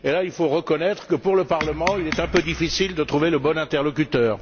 Or, là, il faut reconnaître que, pour le Parlement, il est un peu difficile de trouver le bon interlocuteur.